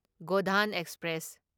Godan express